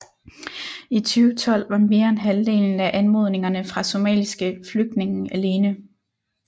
I 2012 var mere end halvdelen af anmodningerne fra somaliske flygtninge alene